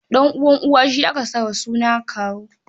Ɗan'uwan uwa shi aka sa wa suna kawu.